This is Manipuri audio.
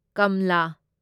ꯀꯝꯂꯥ